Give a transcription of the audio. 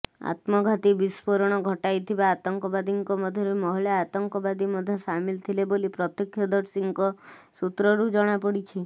ଆତ୍ମଘାତୀ ବିସ୍ଫୋରଣ ଘଟାଇଥିବା ଆତଙ୍କବାଦୀଙ୍କ ମଧ୍ୟରେ ମହିଳା ଆତଙ୍କବାଦୀ ମଧ୍ୟ ସାମିଲ ଥିଲେ ବୋଲି ପ୍ରତ୍ୟକ୍ଷଦର୍ଶୀଙ୍କ ସୂତ୍ରରୁ ଜଣାପଡ଼ିଛି